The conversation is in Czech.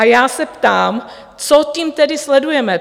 A já se ptám, co tím tedy sledujeme?